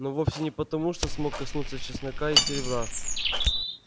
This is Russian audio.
но вовсе не потому что смог коснуться чеснока и серебра